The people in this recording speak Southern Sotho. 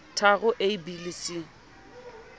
tharo a b le c